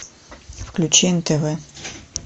включи нтв